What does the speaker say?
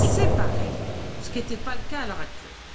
séparée, ce qui n'est pas le cas à l'heure actuelle.